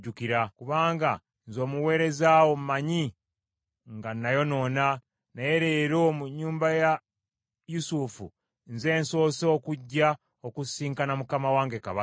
Kubanga nze omuweereza wo mmanyi nga nayonoona, naye leero mu nnyumba eya Yusufu nze nsoose okujja okusisinkana mukama wange kabaka.”